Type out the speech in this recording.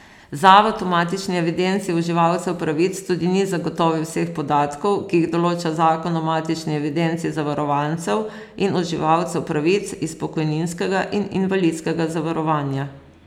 Zavod v matični evidenci uživalcev pravic tudi ni zagotovil vseh podatkov, ki jih določa zakon o matični evidenci zavarovancev in uživalcev pravic iz pokojninskega in invalidskega zavarovanja.